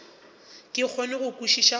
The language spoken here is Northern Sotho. ke kgone go kwešiša gore